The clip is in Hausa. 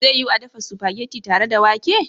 Zai yiwu a dafa spaghetti tare da wake?